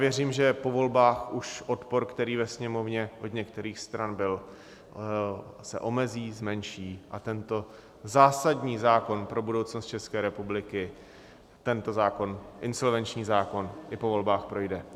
Věřím, že po volbách už odpor, který ve Sněmovně od některých stran byl, se omezí, zmenší a tento zásadní zákon pro budoucnost České republiky tento zákon, insolvenční zákon, i po volbách projde.